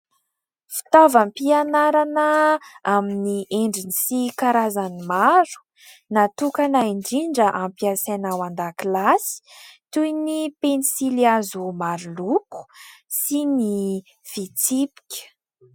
Fitavaom-pianarana amin'ny endriny sy karazany maro, natokana indrindra ampiasaina ao an-dakilasy toy ny penisily hazo maro loko sy ny fitsipika.